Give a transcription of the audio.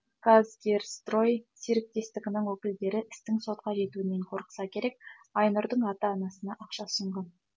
казгерстрой серіктестігінің өкілдері істің сотқа жетуінен қорықса керек айнұрдың ата анасына ақша ұсынған